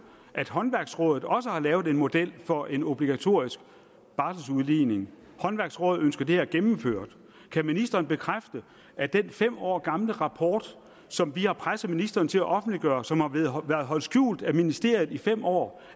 at håndværksrådet også har lavet en model for en obligatorisk barseludligning håndværksrådet ønsker det her gennemført kan ministeren bekræfte at den fem år gamle rapport som vi har presset ministeren til at offentliggøre og som har været holdt skjult af ministeriet i fem år